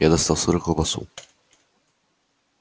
я достал сыр и колбасу